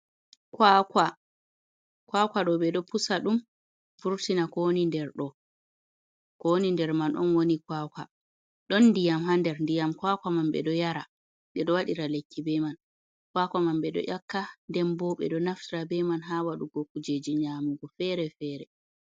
Kwakwa, kwakwa ɗo ɓe do pusa ɗum vurtina ko woni nder ɗo, ko woni ndir man on woni kwakwa, ɗon diyam ha nder, ndiyam kwakwa man ɓe ɗo yara, ɓe ɗo wadira lekki be man, kwakwa man ɓo ɗo ƴakka den bo ɓe ɗo naftira be man ha wadugo kujeji nyamugo fere fere.